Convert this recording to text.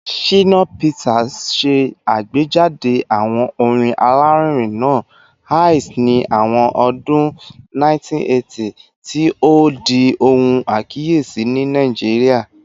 Shina Peters ṣe agbejade awo orin alarinrin naa “Ace” ni awọn ọdun 1980, ti o di ohun akiyesi ni Naijiria